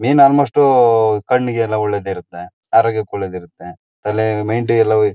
ಮೀನ್ ಅಲ್ಮೊಷ್ಟು ಕಣ್ಣಿಗೆ ಎಲ್ಲ ಒಳ್ಳೆದಿರುತ್ತೆ ಆರೋಗ್ಯಕ್ಕೆ ಒಳ್ಳೆದಿರುತ್ತೆ ತಲೆ ಮೈಂಡು ಎಲ್ಲ ಹೋಇ--